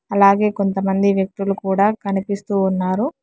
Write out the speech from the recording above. అలాగే కొంతమంది వ్యక్తులు కూడా కనిపిస్తూ ఉన్నారు.